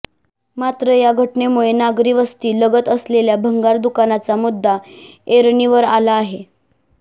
मात्र या घटनेमुळे नागरिवस्ती लगत असलेल्या भंगार दुकानांचा मुद्दा ऐरणीवर आला आहे